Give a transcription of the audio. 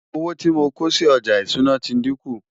owó tí mọ kòsí ọja ìṣúná tí dinkun